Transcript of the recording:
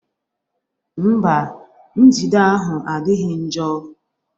Mba, njide ahụ adịghị njọ